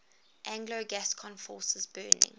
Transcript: anglo gascon forces burning